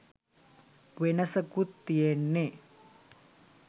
වෙනසකුත් තියෙන්නේ